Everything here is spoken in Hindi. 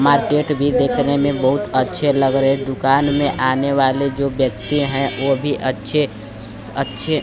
मार्केट भी देखने में बहुत अच्छे लग रहे दुकान में आने वाले जो व्यक्ति हैं वह भी अच्छे अच्छे--